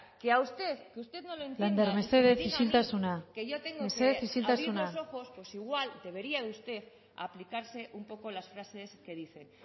que usted no lo entienda lander mesedez isiltasuna mesedez isiltasuna dígame que yo tengo que abrir los ojos pues igual debería usted aplicarse un poco las frases que dice